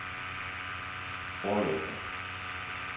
forlygter